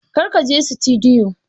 Kar ka je sitidiyo!